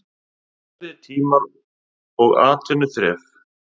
Erfiðir tímar og atvinnuþref.